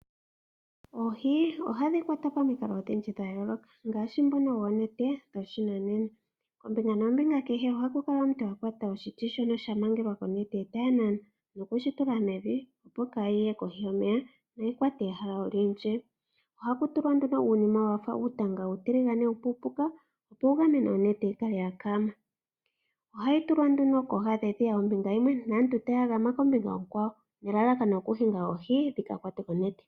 Oohi ohadhi kwatwa pamikalo odhindji dha yooloka ngaashi ndhono dhoonete dhoshinanena. Kombinga nombinga kehe ohaku kala omuntu a kwata oshiti shono sha mangelwa konete e taya nana noku shi mevi, opo kaayi ye kohi yomeya noyi kwate ehala olindji. Ohaku tulwa nduno uunima wa fa uutanga uutiligane uupuupuka, opo wu gamene onete yi kale ya kaama. Ohayi tulwa nduno kooha dhedhiya ombinga yimwe naantu taya gama kombinga onkwawo nelalakano lyokuhinga oohi dhi ka kwatwe konete.